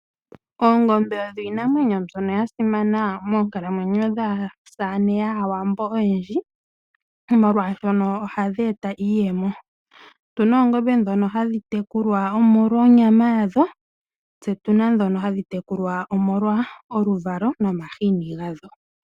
Oongombe odho iinamwenyo mbyono ya simana moonkalamwenyo dhaasamane yAawambo oyendji, molwashono ohadhi eta iiyemo. Otuna oongombe dhono hadhi tekulwa omolwa onyama yadho, se otuna dhona hadhi tekulwa omolwa oluvalo nomahini gadho.